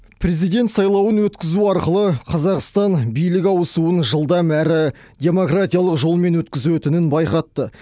президент сайлауын өткізу арқылы қазақстан билік ауысуын жылдам әрі демократиялық жолмен өткізетінін байқатты